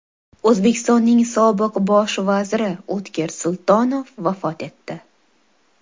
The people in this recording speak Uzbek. O‘zbekistonning sobiq bosh vaziri O‘tkir Sultonov vafot etdi.